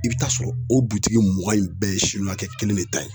I bi t'a sɔrɔ o mugan in bɛɛ ye siniwakɛ kelen de ta ye.